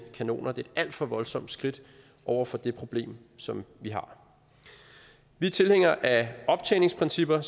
kanoner det er et alt for voldsomt skridt over for det problem som vi har vi er tilhængere af optjeningsprincipper